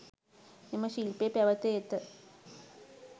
මෙම ශිල්පය පැවත ඇත.